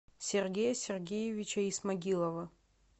сергея сергеевича исмагилова